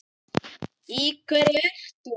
Í hverju ert þú?